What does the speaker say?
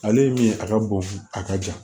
Ale ye min ye a ka bon a ka jan